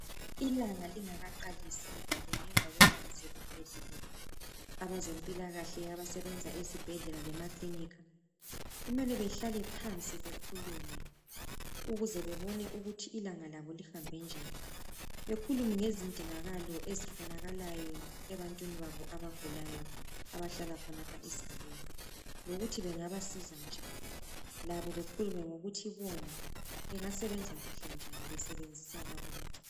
Ilanga lingakaqalisi kumbe ngemva kwelanga seliphelile, abezempilakahle abasebenza ezibhedlela lemakilinika kumele behlale phansi bekhulume ukuze bebone ukuthi labo lihambe njani, bekhulume ngezindingakalo ezifunakalayo ebantwini babo abagulayo abahlala khonapho esigabeni lokuthi bengabasiza njani labo bekhulume ngokuthi bona bengasebenza kuhle njani besebenzisan bonke